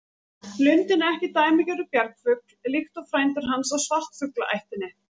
Lundinn er ekki dæmigerður bjargfugl líkt og frændur hans af svartfuglaættinni.